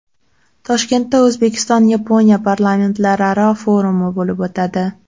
Toshkentda O‘zbekiston-Yaponiya parlamentlararo forumi bo‘lib o‘tadi.